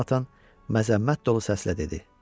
Jonathan məzəmmət dolu səslə dedi.